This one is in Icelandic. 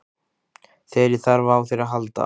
Þegar ég þarf á þér að halda.